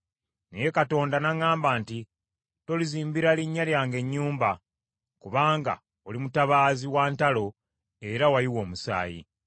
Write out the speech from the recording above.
Naye Katonda n’aŋŋamba nti, ‘Tolinzimbira linnya lyange nnyumba, kubanga oli mutabaazi wa ntalo era wayiwa omusaayi.’